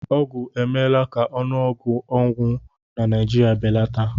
Ọgwụ emela ka ọnụọgụ ọnwụ na Naịjirịa belata